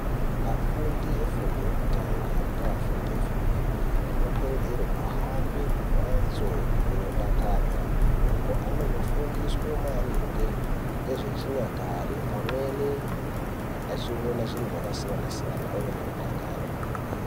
Afundi efundo yekutanga ngaafundi efundo yepiri anokurudzirwe kuhambe kumhatso inodakadza uko anonofundiswe maringe ngezvechinyakare pamweni achione zviro zvakasiyanasiyana ove nerudakaro kwemene.